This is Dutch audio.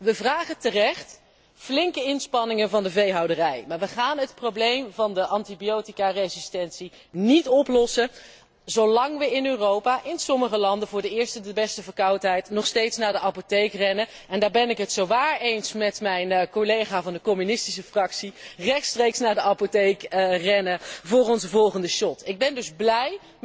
We vragen terecht flinke inspanningen van de veehouderij, maar we gaan het probleem van de antibioticaresistentie niet oplossen zolang we in Europa in sommige landen voor de eerste de beste verkoudheid nog steeds naar de apotheek rennen, en daar ben ik het zowaar eens met mijn collega van de communistische fractie rechtstreeks naar de apotheek rennen voor onze volgende shot. Ik ben dus blij,